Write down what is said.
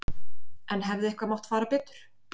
En hefði eitthvað mátt fara betur?